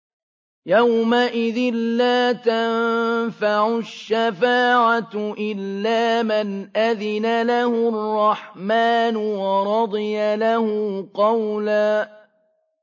يَوْمَئِذٍ لَّا تَنفَعُ الشَّفَاعَةُ إِلَّا مَنْ أَذِنَ لَهُ الرَّحْمَٰنُ وَرَضِيَ لَهُ قَوْلًا